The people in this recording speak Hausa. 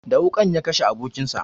Da wuƙan ya kashe abokin sa